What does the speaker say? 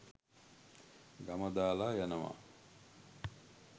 ගම දාලා යනවා.